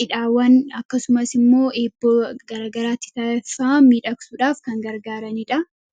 cidhaawwan akkasumas immoo eeboo gargaraatti taa'effaa miidhaksuudhaaf kan gargaaraniidha